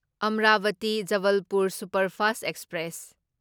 Amravati Jabalpur superfast express